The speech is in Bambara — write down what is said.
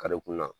Karekun na